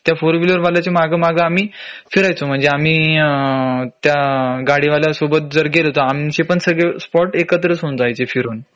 त्या four wheeler वाल्याच्या माग माग आम्ही फिरायचो म्हंजे आम्ही अ त्या गाडी वाल्या सोबत जर गेलो तर आमचे पण सगळे स्पॉट एकत्रच होऊन जायचे फिरून